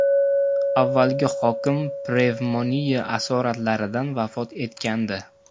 Avvalgi hokim pnevmoniya asoratlaridan vafot etgandi.